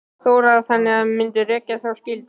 Þóra: Þannig að þið mynduð rækja þá skyldu?